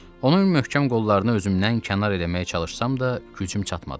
Onun möhkəm qollarını özümdən kənar eləməyə çalışsam da gücüm çatmadı.